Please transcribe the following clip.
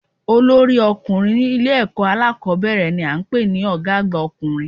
Olórí ọkùnrin ní Ilé èkó alákòbéèrè ni a n pè ní Ògá àgbà ọkùnrin